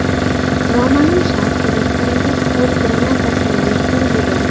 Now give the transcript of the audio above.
Noma’lum shaxs restoranga qo‘l granatasini uloqtirib yuborgan.